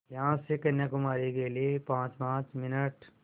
यहाँ से कन्याकुमारी के लिए पाँचपाँच मिनट